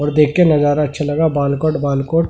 और देख के नजारा अच्छा लगा बालकोट वालकोट--